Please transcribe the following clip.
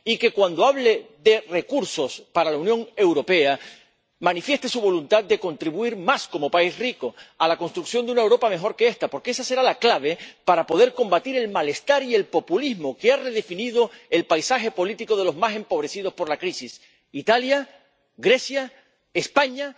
y que, cuando hable de recursos para la Unión Europea, manifieste su voluntad de contribuir más —como país rico— a la construcción de una Europa mejor que esta, porque esa será la clave para poder combatir el malestar y el populismo que han redefinido el paisaje político de los más empobrecidos por la crisis —Italia, Grecia, España—